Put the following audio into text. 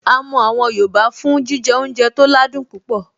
A mọ àwọn yoòbá fún jíjẹ oúnjẹ tó ládùn púpọ̀